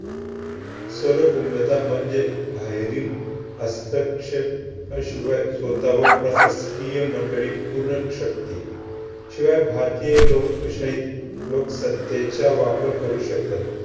म्हणजे बाहेरील हस्तक्षेप~आ शिवाय स्वतःवर प्रशासकीय मंडळी शक्ती. शिवाय भारतीय लोकशाही लोकसत्तेचा वापर करू शकतात.